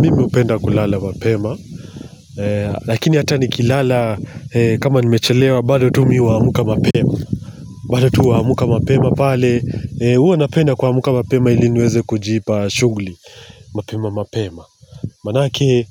Mimi hupenda kulala mapema Lakini hata nikilala kama nimechelewa bado tu mi huamka mapema bado tu huamka mapema pale huwa napenda kuamka mapema ili niweze kujipa shughuli mapema mapema Maanake